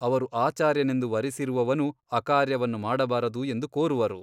ಅವರು ಆಚಾರ್ಯನೆಂದು ವರಿಸಿರುವವನು ಅಕಾರ್ಯವನ್ನು ಮಾಡಬಾರದು ಎಂದು ಕೋರುವರು.